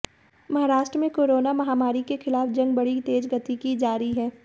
महाराष्ट्र में कोरोना महामारी के खिलाफ जंग बड़ी तेज गति की जारी है